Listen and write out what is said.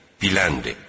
Biləndir.